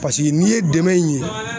Paseke n'i ye dɛmɛ in ye